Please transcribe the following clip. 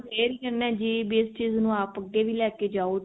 aware ਹ ਕਹਿਨੇ ਹਾਂ ਜਿਸ ਚੀਜ਼ ਨੂੰ ਆਪ ਅੱਗੇ ਵੀ ਲੈਕੇ ਜਾਓ